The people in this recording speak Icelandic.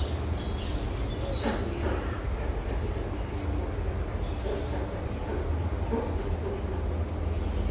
Veit hvað hún vill